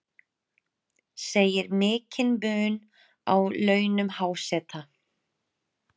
Segir mikinn mun á launum háseta